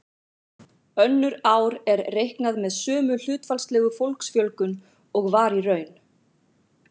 Önnur ár er reiknað með sömu hlutfallslegu fólksfjölgun og var í raun.